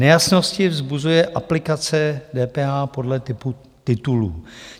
Nejasnosti vzbuzuje aplikace DPH podle typu titulů.